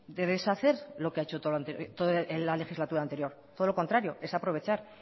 de deshacer lo que ha hecho en la legislatura anterior todo lo contrario es aprovechar